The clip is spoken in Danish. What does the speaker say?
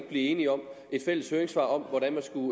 blive enige om et fælles høringssvar om hvordan man skulle